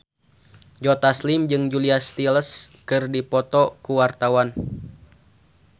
Joe Taslim jeung Julia Stiles keur dipoto ku wartawan